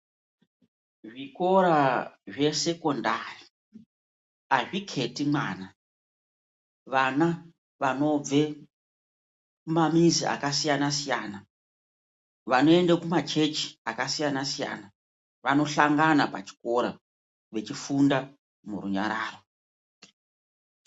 Zvikora zvesekondari azviketi mwana vana vanobve kumamizi akasiyana siyana vanoende kumachechi akasiyana siyana vanohlangana pachikora echifunda murunyararo.